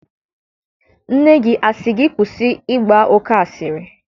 Nne gị asị gị kwụsị ịgba oke asịrị?